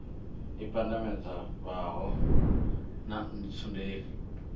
i pandamedza fhala ha ntsundeni